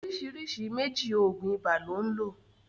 oríṣiríṣi méjì oògùn ibà lón lo.